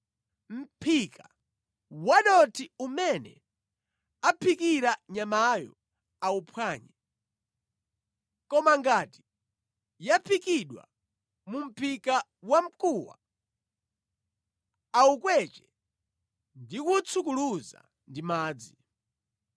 Mʼphika wadothi umene aphikira nyamayo auphwanye. Koma ngati yaphikidwa mu mʼphika wa mkuwa, awukweche ndi kuwutsukuluza ndi madzi.